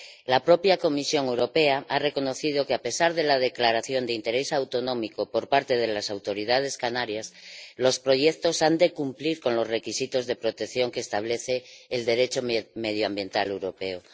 La propia Comisión Europea ha reconocido que, a pesar de la declaración de interés autonómico por parte de las autoridades canarias, los proyectos han de cumplir los requisitos de protección que establece el Derecho medioambiental europeo.